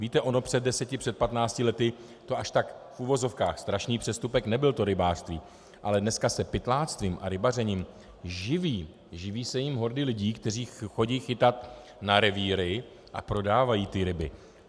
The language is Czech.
Víte, ono před deseti, před patnácti lety to až tak v uvozovkách strašný přestupek nebyl, to rybářství, ale dneska se pytláctvím a rybařením živí, živí se jím hordy lidí, které chodí chytat na revíry a prodávají ty ryby.